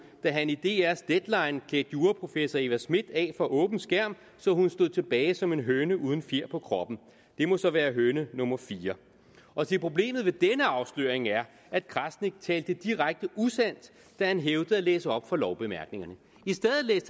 da han i dr’s deadline klædte juraprofessor eva smith af for åben skærm så hun stod tilbage som en høne uden fjer på kroppen det må så være høne nummer fire og se problemet ved denne afsløring er at krasnik talte direkte usandt da han hævdede at læse op fra lovbemærkningerne